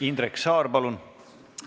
Indrek Saar, palun!